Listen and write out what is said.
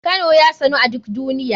Kano ya sanu a duk duniya.